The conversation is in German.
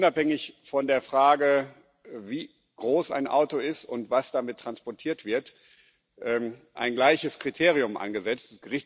Da ist völlig unabhängig von der Frage, wie groß ein Auto ist und was damit transportiert wird, ein gleiches Kriterium angesetzt